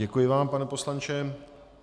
Děkuji vám, pane poslanče.